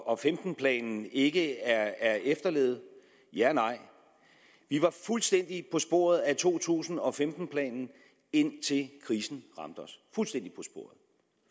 og femten planen ikke er efterlevet ja og nej vi var fuldstændig på sporet af to tusind og femten planen indtil krisen ramte os